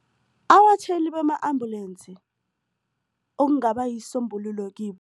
Abatjhayeli bama-ambulance okungaba yisombululo kibo.